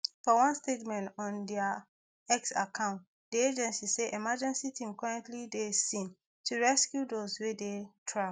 for one statement on dia x account di agency say emergency team currently dey di scene to rescue those wey dey trapped